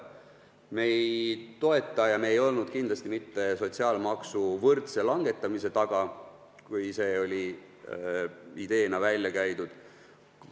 Me ei toeta sotsiaalmaksu võrdset langetamist ja me ei olnud kindlasti selle taga, kui see oli ideena välja käidud.